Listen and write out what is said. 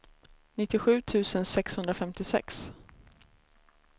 nittiosju tusen sexhundrafemtiosex